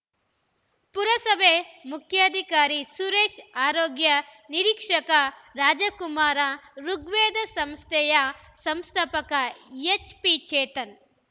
ಪುರಸಭೆ ಮುಖ್ಯಾಧಿಕಾರಿ ಸುರೇಶ್‌ಆರೋಗ್ಯ ನಿರೀಕ್ಷಕ ರಾಜಕುಮಾರ್‌ ಋುಗ್ವೇದ ಸಂಸ್ಥೆಯ ಸಂಸ್ಥಾಪಕ ಎಚ್‌ಪಿ ಚೇತನ್‌